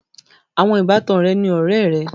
Àwọn ìbátan rẹ ni ọ̀rẹ̀ è rẹ.